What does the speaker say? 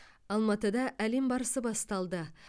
алматыда әлем барысы басталды